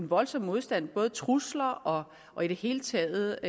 voldsom modstand trusler og i det hele taget